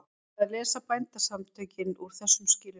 Hvað lesa Bændasamtökin úr þessum skilyrðum?